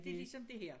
Det ligesom dét her